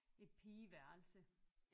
Et pigeværelse